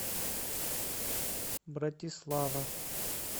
братислава